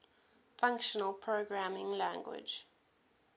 functional programming language